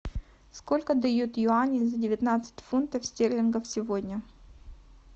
сколько дают юаней за девятнадцать фунтов стерлингов сегодня